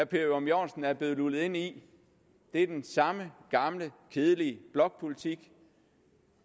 per ørum jørgensen er blevet lullet ind i er den samme gamle kedelige blokpolitik